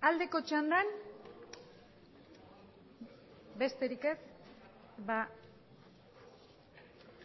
aldeko txandan besterik ez